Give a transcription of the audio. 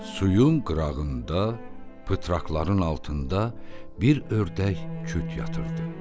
Suyun qırağında pıtraqların altında bir ördək küt yatırdı.